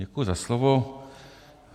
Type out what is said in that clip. Děkuji za slovo.